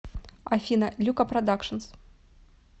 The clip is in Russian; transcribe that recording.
афина люка продакшнс